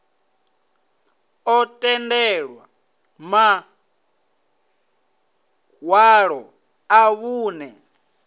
ḓo tendelwa maṋwalo a vhunṋe